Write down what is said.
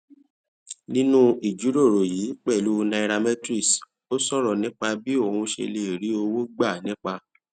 nínú ìjíròrò yìí pèlú nairametrics ó sòrò nípa bí òun ṣe lè rí owó gbà nípa